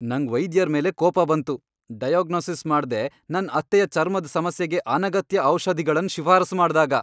ನಂಗ್ ವೈದ್ಯರ್ ಮೇಲೆ ಕೋಪ ಬಂತು. ಡೈಯಗ್ನೋಸಿಸ್ ಮಾಡ್ದೆ ನನ್ ಅತ್ತೆಯ ಚರ್ಮದ್ ಸಮಸ್ಯೆಗೆ ಅನಗತ್ಯ ಔಷಧಿಗಳನ್ ಶಿಫಾರಸು ಮಾಡ್ದಾಗ